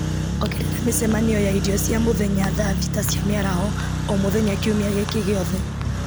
ongerera mĩcemanio ya irio cia mũthenya thaa thita cia mĩaraho o mũthenya kiumia gĩkĩ gĩothe